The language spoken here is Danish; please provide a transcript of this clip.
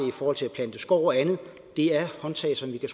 i forhold til at plante skov og andet det er håndtag som vi kan